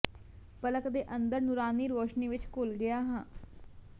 ਪਲਕ ਦੇ ਅੰਦਰ ਨੂਰਾਨੀ ਰੌਸ਼ਨੀ ਵਿਚ ਘੁਲ ਗਿਆ ਹਾਂ